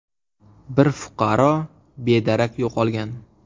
Bir fuqaro bedarak yo‘qolgan.